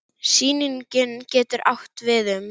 Sýning getur átt við um